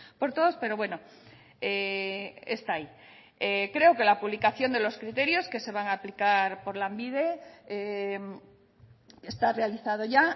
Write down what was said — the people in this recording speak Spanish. por todos pero bueno está ahí creo que la publicación de los criterios que se van a aplicar por lanbide está realizado ya